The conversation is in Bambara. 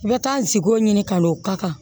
N bɛ taa n sigiko ɲini ka n'o ka kan